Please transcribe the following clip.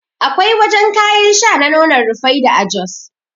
Akwai wajan kayan sha na nonon Rufaidah a jos